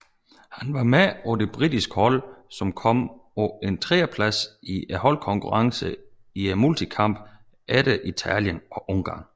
Han var med på det britiske hold som kom på en tredjeplads i holdkonkurrencen i multikamp efter Italien og Ungarn